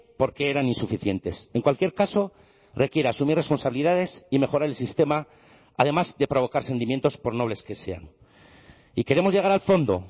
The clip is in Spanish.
porque eran insuficientes en cualquier caso requiere asumir responsabilidades y mejorar el sistema además de provocar sentimientos por nobles que sean y queremos llegar al fondo